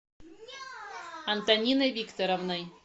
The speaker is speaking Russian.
антониной викторовной